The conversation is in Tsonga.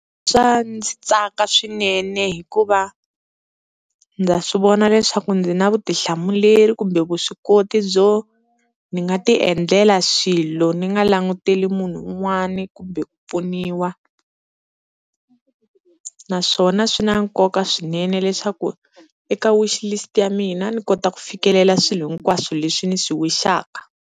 Swa ndzi tsaka swinene hikuva ndza swivona leswaku ndzi na vutihlamuleri kumbe vuswikoti byo ni nga ti endlela swilo ni nga languteli munhu n'wani kumbe ku pfuniwa, naswona swi na nkoka swinene leswaku eka wishlist ya mina ni kota ku fikelela swilo hinkwaswo leswi ni swi wish-aka.